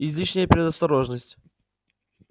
излишняя предосторожность